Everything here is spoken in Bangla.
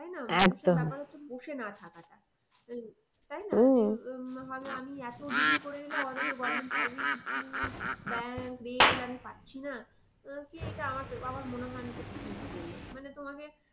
বসে না থাকাটা এই তাই না ভাবে আমি এতো degree করে এলাম অথচ government service school, bank, rail আমি পাচ্ছি না আহ কি এটা আমার মনে হয় না এটা ঠিক বলে। মানে তোমাকে